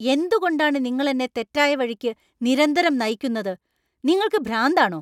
എന്തുകൊണ്ടാണ് നിങ്ങൾ എന്നെ തെറ്റായ വഴിക്ക് നിരന്തരം നയിക്കുന്നത്. നിങ്ങൾക്ക് ഭ്രാന്താണോ?